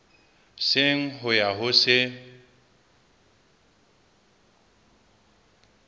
seng ho ya ho se